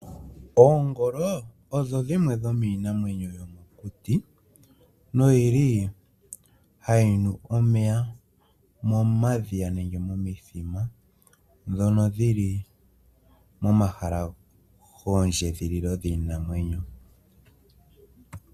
Oongolo odho dhimwe dhomiinamwenyo yomokuti, noyili hayi nu omeya momadhiya nenge momithima ndhono dhi li momahala giikunino yiinamwenyo.